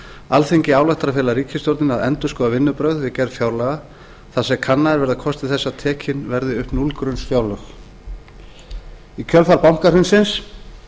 alþingi ályktar að fela ríkisstjórninni að endurskoða vinnubrögð við gerð fjárlaga þar sem kannaðir verða kostir þess að tekin verði upp núllgrunnsfjárlög í kjölfar bankahrunsins